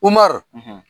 Umaru